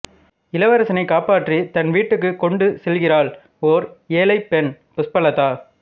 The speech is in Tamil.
இளவரசனைக் காப்பாற்றித் தன் வீட்டுக்குக் கொண்டு செல்கிறாள் ஓர் ஏழைப் பெண் புஷ்பலதா